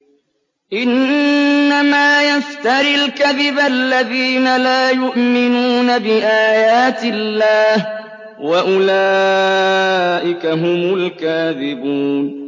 إِنَّمَا يَفْتَرِي الْكَذِبَ الَّذِينَ لَا يُؤْمِنُونَ بِآيَاتِ اللَّهِ ۖ وَأُولَٰئِكَ هُمُ الْكَاذِبُونَ